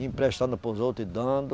Emprestando para os outros e dando.